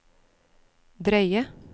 drøye